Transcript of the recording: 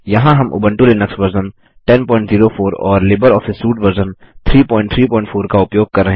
यहाँ हम Ubuntu Linux version 1004 और लिबर ऑफिस सूट वर्जन 334